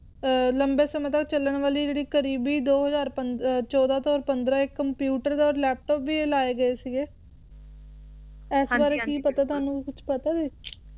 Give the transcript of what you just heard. ਅਮ ਲੰਮੇ ਸਮੇਂ ਤੱਕ ਚੱਲਣ ਵਾਲੀ ਜਿਹੜੀ ਕਰੀਬੀ ਦੋ ਹਜ਼ਾਰ ਪੰਦ`ਚੌਦਾਂ ਤੋਂ ਪੰਦਰਾਂ ਏ ਕੰਪਿਊਟਰ ਔਰ ਲੈਪਟੋਪ ਵੀ ਲਾਏ ਗਏ ਸੀਗੇ ਇਸ ਬਾਰੇ ਕੀ ਪਤਾ ਤੁਹਾਨੂੰ ਕੁਝ ਪਤਾ ਹੈ